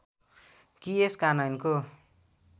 कि यस कानयनको